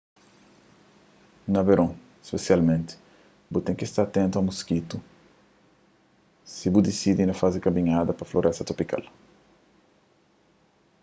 na veron spesialmenti bu ten ki sta atentu a moskitu si bu disidi na faze kaminhada pa floresta tropikal